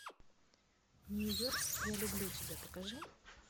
нью йорк я люблю тебя покажи